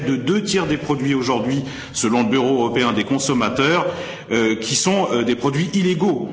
Près de deux tiers des produits aujourd'hui, selon le Bureau européen des consommateurs, sont des produits illégaux.